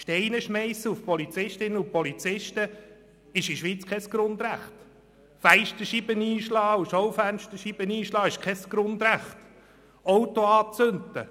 Steine schmeissen auf Polizistinnen und Polizisten ist in der Schweiz kein Grundrecht, ebenso wenig wie Fenster- und Schaufensterscheiben einschlagen oder Autos anzünden.